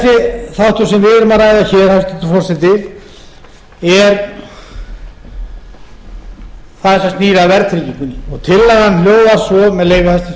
sem við erum að ræða hér hæstvirtur forseti er það sem snýr að verðtryggingunni og tillagan hljóðar svo með leyfi hæstvirts forseta þetta er